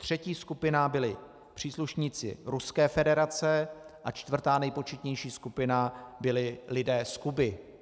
Třetí skupina byli příslušníci Ruské federace a čtvrtá, nejpočetnější skupina byli lidé z Kuby.